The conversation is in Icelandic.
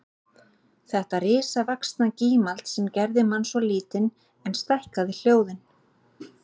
Þetta risavaxna gímald sem gerði mann svo lítinn en stækkaði hljóðin